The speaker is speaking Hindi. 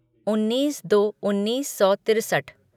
उन्नीस दो उन्नीस सौ तिरसठ